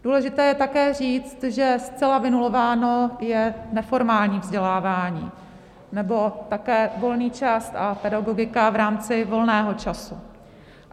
Důležité je také říct, že zcela vynulováno je neformální vzdělávání nebo také volný čas a pedagogika v rámci volného času.